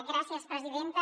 gràcies presidenta